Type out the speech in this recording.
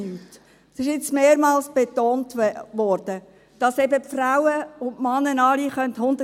Es wurde jetzt mehrmals betont, dass eben Frauen und Männer alle 100 Prozent arbeiten könnten.